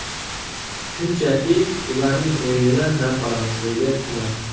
Shunchaki ularning o‘yinidan zavq olamiz”, deydi Kuman.